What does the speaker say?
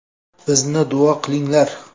Bizni duo qilinglar.